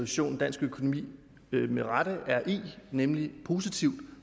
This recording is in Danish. situation dansk økonomi med rette er i nemlig en positiv